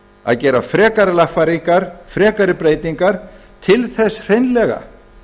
að gera frekari lagfæringar frekari breytingar til þess hreinlega